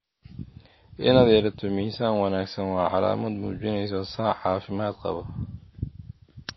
Inaad yeelato miisaan wanaagsan waa calaamad muujinaysa sac caafimaad qaba.